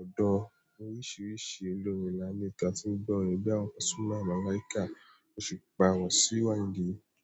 Ọ̀pọ̀lọpọ̀ orin oríṣiríṣi àwọn olórin ni mo ní nínú ètò tí mo ń gbọ́. Orin bíi ti pasuma, Malaika, osupa, wasiu ayindé.